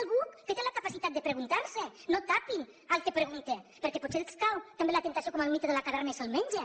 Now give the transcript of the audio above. algú que té la capacitat de preguntar s’ho no tapin a qui pregunta perquè potser els cau també la temptació com al mite de la caverna i se’l mengen